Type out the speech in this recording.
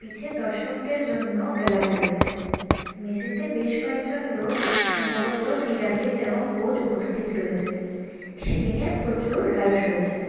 পিছে দর্শকদের জন্য গ্যালারি রয়েছে মেঝেতে বেশ কয়েকজন লোক সম্ভবত ক্রীড়াবিদ এবং কোচ উপস্থিত রয়েছে সিলিংয়ে প্রচুর লাইট রয়েছে।